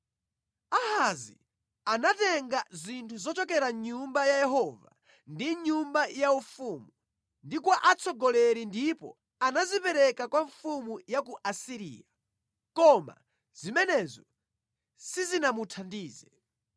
Ahazi anatenga zinthu zochokera mʼNyumba ya Yehova ndi mʼnyumba yaufumu ndi kwa atsogoleri ndipo anazipereka kwa mfumu ya ku Asiriya, koma zimenezo sizinamuthandize.